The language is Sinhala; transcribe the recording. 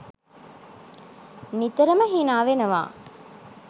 නිතරම හිනාවෙනවා.